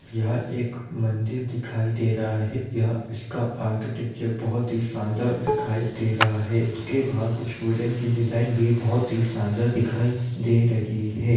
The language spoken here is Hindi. यहाँ एक मंदिर दिखाई दे रहा है यहाँ उसका आर्किटेक्चर बहुत ही शानदार दिखाई दे रहा है उसके बहार कुछ वुडेन की डिजाइन भी बहुत शानदार दिखाई दे रही है ।